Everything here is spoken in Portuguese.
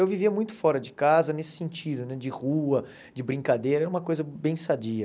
Eu vivia muito fora de casa, nesse sentido né, de rua, de brincadeira, era uma coisa bem sadia.